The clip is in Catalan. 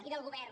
i del govern